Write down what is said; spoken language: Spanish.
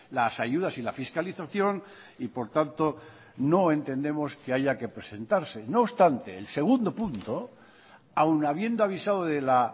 las ayudas y la fiscalización y por tanto no entendemos que haya que presentarse no obstante el segundo punto aun habiendo avisado de la